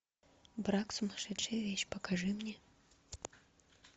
брак сумасшедшая вещь покажи мне